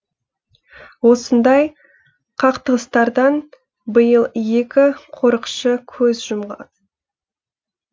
осындай қақтығыстардан биыл екі қорықшы көз жұмған